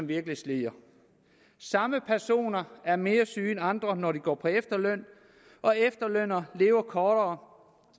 virkelig slider samme personer er mere syge end andre når de går på efterløn og efterlønnere lever kortere